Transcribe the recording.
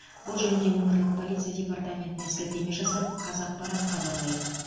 бұл жөнінде өңірлік полиция департаментіне сілтеме жасап қазақпарат хабарлайды